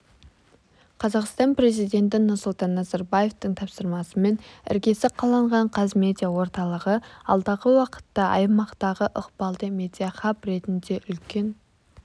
қазақстан президенті нұрсұлтан назарбаевтың тапсырмасымен іргесі қаланған қазмедиа орталығы алдағы уақытта аймақтағы ықпалды медиахаб ретінде үлкен